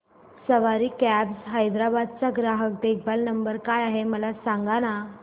सवारी cabs Hyderabad चा ग्राहक देखभाल नंबर काय आहे मला सांगाना